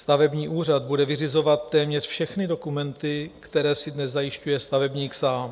Stavební úřad bude vyřizovat téměř všechny dokumenty, které si dnes zajišťuje stavebník sám.